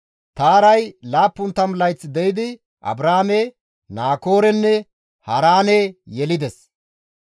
Taaray 70 layth de7idi Abraame, Naakoorenne Haaraane yelides.